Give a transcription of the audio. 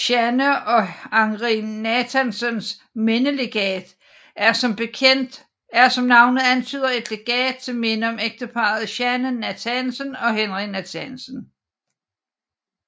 Jeanne og Henri Nathansens Mindelegat er som navnet antyder et legat til minde om ægteparret Jeanne Nathansen og Henri Nathansen